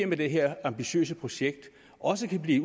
med det her ambitiøse projekt også kan blive